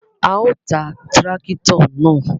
A o tá tìràkitọ naa